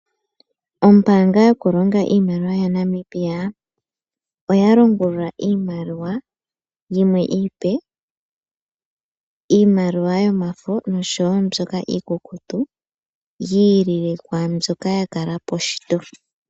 Ombaanga onene yaNamibia oya longulula iimaliwa yimwe iipe, iimaliwa yomafo nosho woo iikukutu yiilile kwaandjoka yakalapo shito.